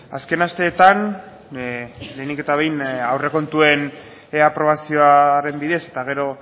azken asteetan lehenik eta behin aurrekontuen aprobazioaren bidez eta gero